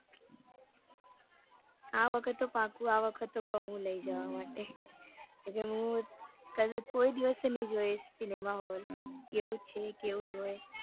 આ વખત તો પાક્કું આ વખત તો કૌ હું લઇ જવા માટે કે હું મેં કોઈ દિવસ નઈ જોયું cinema hall કેવું છે કેવું હોય